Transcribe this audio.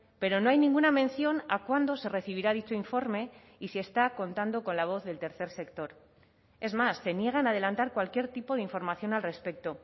pero no hay ninguna mención a cuándo se recibirá dicho informe y si está contando con la voz del tercer sector es más se niegan a adelantar cualquier tipo de información al respecto